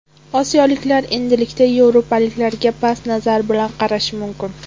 Osiyoliklar endilikda yevropaliklarga past nazar bilan qarashi mumkin”.